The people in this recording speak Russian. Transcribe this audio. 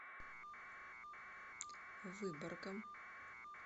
выборгом